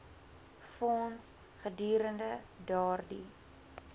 fonds gedurende daardie